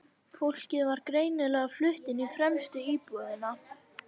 Fólkið var greinilega flutt inn í fremstu íbúðina.